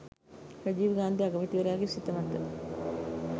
රජීව් ගාන්ධි අගමැතිවරයාගේ සිත මත